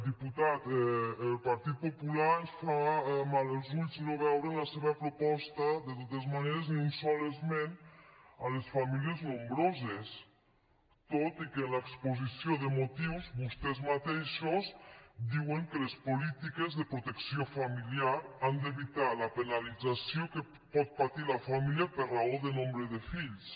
diputat al partit popular ens fa mal als ulls no veure en la seva proposta de totes maneres ni un sol esment a les famílies nombroses tot i que en l’exposició de motius vostès mateixos diuen que les polítiques de protecció familiar han d’evitar la penalització que pot patir la família per raó de nombre de fills